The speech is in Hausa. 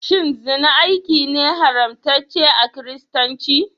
Shin zina aiki ne haramtacce a kiristanci?